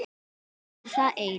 Þau eru þar ein.